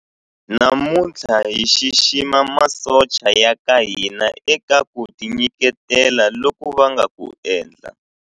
Namuntlha hi xixima masocha ya ka hina eka ku tinyiketela loku va nga ku endla.